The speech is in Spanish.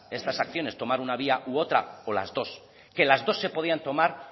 estas acciones tomar una vía u otra o las dos que las dos se podían tomar